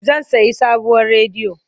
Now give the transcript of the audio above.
Zan sayi sabuwar rediyo.